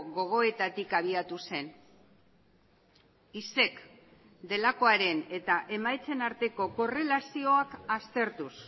gogoetatik abiatu zen isek delakoaren eta emaitzen arteko korrelazioak aztertuz